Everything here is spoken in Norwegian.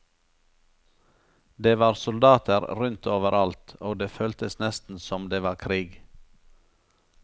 Det var soldater rundt over alt, og det føltes nesten som det var krig.